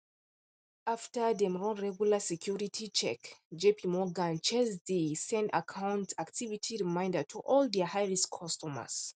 after dem run regular security check jpmorgan chase dey send account activity reminder to all their highrisk customers